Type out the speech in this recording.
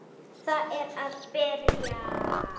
Það er að byrja.